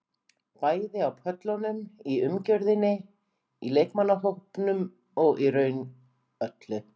Bæði á pöllunum, í umgjörðinni, í leikmannahópnum og í raun öllu.